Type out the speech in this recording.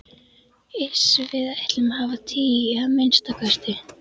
Iss. við ætlum að hafa tíu, að minnsta kosti.